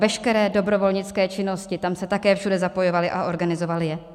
Veškeré dobrovolnické činnosti, tam se také všude zapojovali a organizovali je.